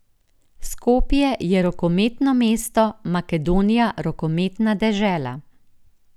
Skopje je rokometno mesto, Makedonija rokometna dežela.